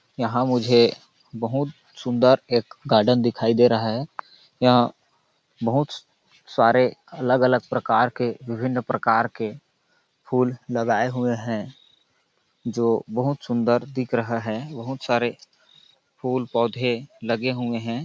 यहाँ मुझे बहुत सुन्दर एक गार्डन दिखाई दे रहा है यहाँ बहुत सारे अलग-अलग प्रकार के विभिन्न प्रकार के फूल लगाए हुए है जो बहुत सुन्दर दिख रहा है बहुत सारे फूल-पौधे लगे हुए हैं।